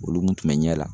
Olu kun bɛ ɲɛ la